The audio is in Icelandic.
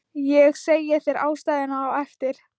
Ég segi þér ástæðuna á eftir